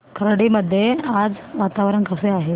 खर्डी मध्ये आज वातावरण कसे आहे